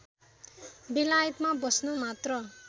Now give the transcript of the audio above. बेलायतमा बस्न मात्र